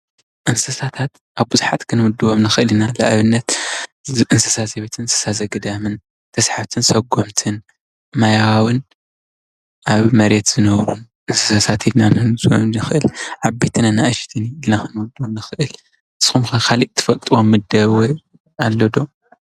እንስሳታት ኣብ ብዙሓት ክንምድቦም ንኸእል ኢና ንኣብነት እንስሳ ዘቤትን እንስሳ ዘቤትን ተስሓብትን ዘጎምትን ማያውን ኣብ መሬት ዝነብሩን እንሳት ኢልና ክንምድቦም ንኸእል፡፡ ዓበይትን ኣናእሽትን ኢልና ክንምድቦም ንኸእል፡፡ ንስኹም ከ ካሊእ እትፈልጥዎም ምደበኦም ኣሎዶ?